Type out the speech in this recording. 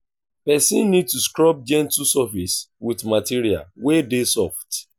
person need to scrub gentle surface with material wey dey soft